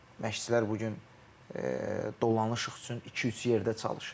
Məşqçilər bu gün dolanışıq üçün iki-üç yerdə çalışır.